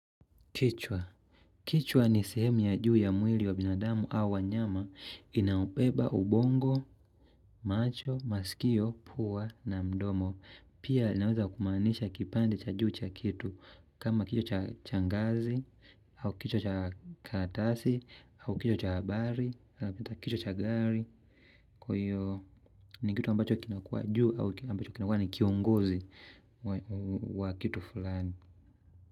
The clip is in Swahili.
Kichwa. Kichwa ni sehemu ya juu ya mwili wa binadamu au wanyama inaobeba ubongo, macho, masikio, pua na mdomo. Pia inaweza kumaanisha kipande cha juu cha kitu. Kama kichwa cha ngazi, au kichwa cha karatasi, au kichwa cha habari, ama kichwa cha gari. Kwaiyo ni kitu ambacho kinakua juu au ambacho kinakua ni kiongozi wa kitu fulani.